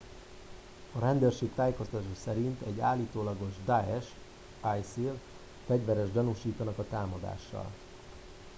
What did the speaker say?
a rendőrség tájékoztatása szerint egy állítólagos daesh isil fegyverest gyanúsítanak a támadással